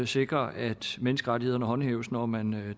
sikres at menneskerettighederne håndhæves når man